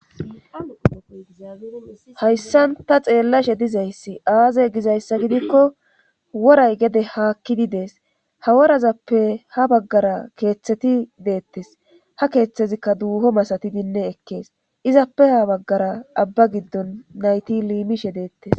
hayssan ta xeellashe dizayssi aaze gizayssa gidikko woray gede haakkidi dees ha worazappe ha baggara keeththeti deettes ha keeththezikka duuho masatidinne ekkees izappe ha baggara abba giddon nayti liimishe deettes